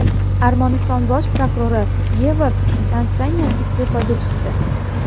Armaniston bosh prokurori Gevorg Kostanyan iste’foga chiqdi.